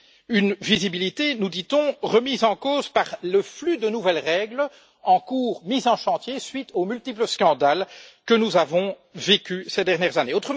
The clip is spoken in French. Une visibilité, nous dit on, remise en cause par le flux de nouvelles règles en cours, mises en chantier à la suite des multiples scandales que nous avons vécus ces dernières années.